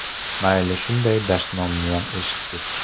Mayli, shunday dashnomniyam eshitdik.